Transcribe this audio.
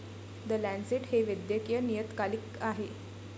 The Lancet हे एक वैदकीय नियतकालिक आहे.